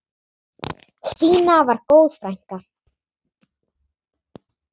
Stína var góð frænka.